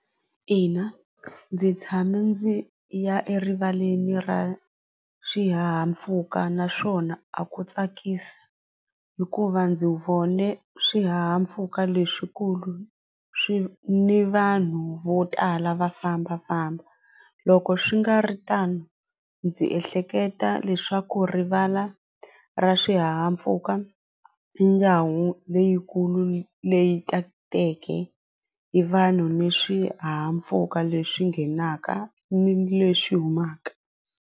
Ina ndzi tshame ndzi ya erivaleni ra swihahampfhuka naswona a ku tsakisa hikuva ndzi vone swihahampfhuka leswikulu swi ni vanhu vo tala va fambafamba loko swi nga ri tano ndzi ehleketa leswaku rivala ra swihahampfuka leyikulu leyi tateke hi vanhu ni swihahampfhuka leswi nghenaka ni leswi humaka.